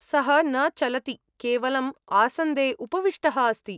सः न चलति, केवलम् आसन्दे उपविष्टः अस्ति।